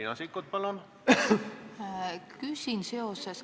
Riina Sikkut, palun!